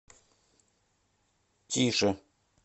тише